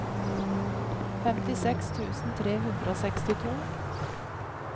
femtiseks tusen tre hundre og sekstito